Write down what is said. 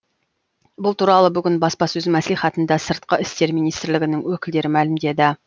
бұл туралы бүгін баспасөз мәслихатында сыртқы істер министрлігінің өкілдері мәлімдеді